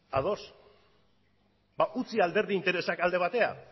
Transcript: ados ba utzi alderdi interesak alde batera